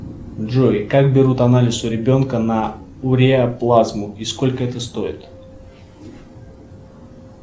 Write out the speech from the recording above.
джой как берут анализ у ребенка на уреаплазму и сколько это стоит